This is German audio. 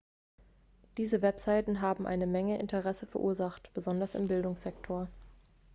diese webseiten haben eine menge interesse verursacht besonders im bildungssektor